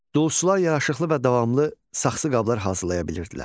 Duluzçular yaraşıqlı və davamlı saxsı qablar hazırlaya bilirdilər.